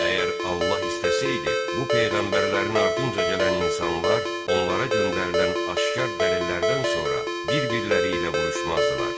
Əgər Allah istəsəydi, bu peyğəmbərlərin ardınca gələn insanlar onlara göndərilən aşkar dəlillərdən sonra bir-birləri ilə vuruşmazdılar.